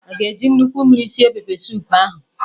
Aga eji nnukwu mmiri sie pepesoup ahụ?